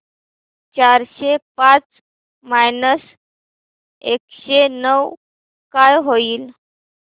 चारशे पाच मायनस एकशे नऊ काय होईल